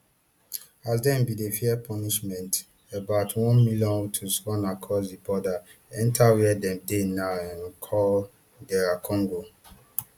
as dem bin dey fear punishment about one million hutus run across di border enta wia dem dey now um call dr congo